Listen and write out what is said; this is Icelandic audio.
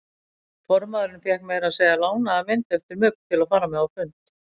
Formaðurinn fékk meira að segja lánaða mynd eftir Mugg til að fara með á fund.